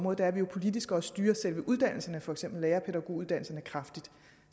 at vi jo politisk også styrer selve uddannelserne for eksempel lærer og pædagoguddannelsen kraftigt